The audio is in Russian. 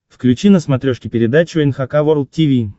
включи на смотрешке передачу эн эйч кей волд ти ви